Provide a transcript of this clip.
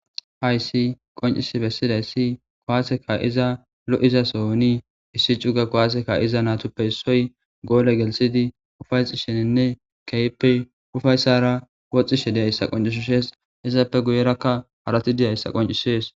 Hayissi qonc,isi besidayisi kuwase ka,izanne lo'iza sohon issi cu'ga kuwase ka'izayitippe isoyi golle gelisidi ufayisishininne kehippe ufayisara woxishe dizayisa qon,ises izappe guye bagara haratika dizayisa qon,ises